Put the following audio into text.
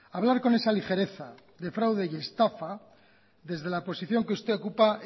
hablar con esa ligereza de fraude y estafa desde la posición que usted ocupa